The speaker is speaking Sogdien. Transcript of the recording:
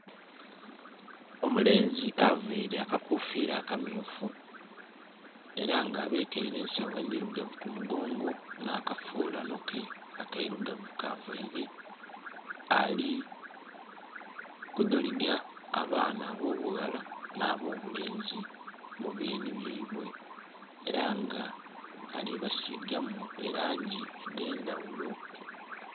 Omulenzi avaire akakufira akamyufu era nga abekeire ensayo endhirugavu ku mugongo nha kafulanho ke akairugavu ka vaire ali kudholiga abaana abo bughala na bo bulenzi mu byeni byeibwe era nga alibasigamu elangi edhendhaghulo.